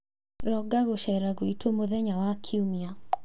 Ronga gũceera gwitũ mũthenya wa Kiumia.